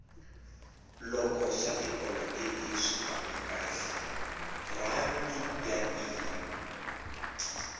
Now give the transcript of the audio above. loko swa tipolotiki swi famba kahle rhandi ya tiya